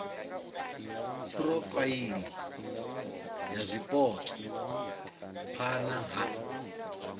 phurofaili ya zwipotso phana ha